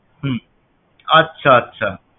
হম আচ্ছা আচ্ছা